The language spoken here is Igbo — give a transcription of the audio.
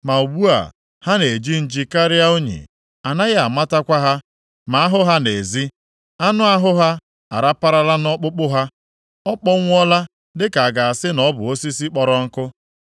Ma ugbu a, ha na-eji nji karịa unyi. A naghị amatakwa ha ma a hụ ha nʼezi. Anụ ahụ ha araparala nʼọkpụkpụ ha; ọ kpọnwụọla dịka a ga-asị na ọ bụ osisi kpọrọ nkụ.